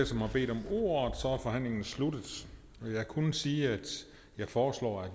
som har bedt om ordet er forhandlingen sluttet jeg kunne sige at jeg foreslår